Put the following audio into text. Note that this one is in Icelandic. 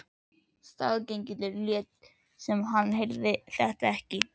Staðgengillinn lét sem hann heyrði þetta ekki.